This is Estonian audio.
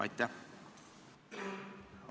Aitäh!